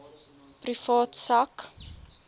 privaat sak